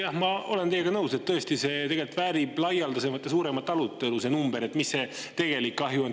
Jah, ma olen teiega nõus, et see number tõesti väärib laialdasemat ja suuremat arutelu – see, mis tegelik kahju on.